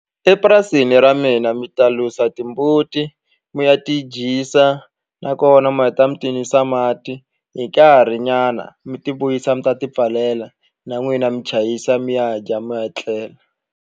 Epurasini ra mina mi ta lusa timbuti mi ya ti dyisa nakona mi heta mi ti nwisa mati hi nkarhinyana mi ti vuyisa mi ta tipfalela na n'wina mi chayisa mi ya dya mi ya tlela.